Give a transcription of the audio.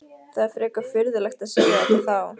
Það er frekar furðulegt að segja þetta þá?